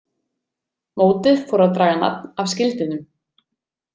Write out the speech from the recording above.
Mótið fór að draga nafn af skildinum.